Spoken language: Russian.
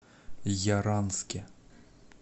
яранске